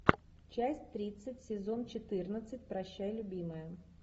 часть тридцать сезон четырнадцать прощай любимая